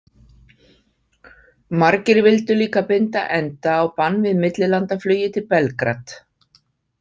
Margir vildu líka binda enda á bann við millilandaflugi til Belgrad.